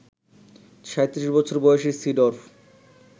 ৩৭ বছর বয়সী সিডর্ফ